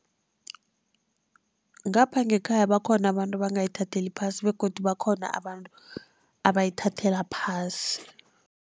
Ngapha ngekhaya bakhona abantu abangayithatheli phasi begodu bakhona abantu abayithathela phasi.